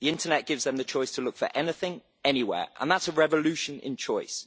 The internet gives them the choice to look for anything, anywhere. That is a revolution in choice.